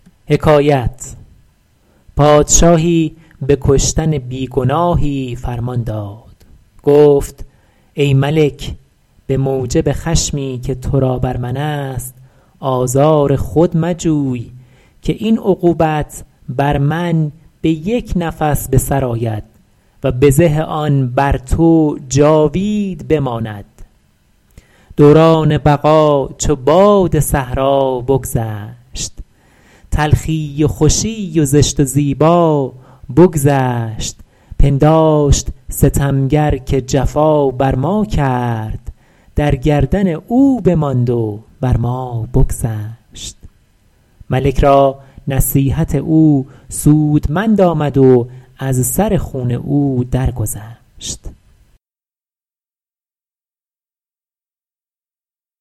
پادشاهی به کشتن بی گناهی فرمان داد گفت ای ملک به موجب خشمی که تو را بر من است آزار خود مجوی که این عقوبت بر من به یک نفس به سر آید و بزه آن بر تو جاوید بماند دوران بقا چو باد صحرا بگذشت تلخی و خوشی و زشت و زیبا بگذشت پنداشت ستمگر که جفا بر ما کرد در گردن او بماند و بر ما بگذشت ملک را نصیحت او سودمند آمد و از سر خون او در گذشت